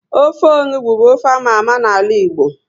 Ofe onugbu bu ofe ámá ámá na ala Igbo